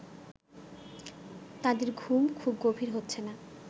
তাদের ঘুম খুব গভীর হচ্ছে না